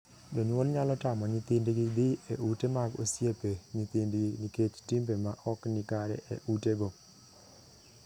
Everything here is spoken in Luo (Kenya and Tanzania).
Jonyuol nyalo tamo nyithindgi dhii e ute mag osiepe nyithindgi nikech timbe ma ok ni kare e utego.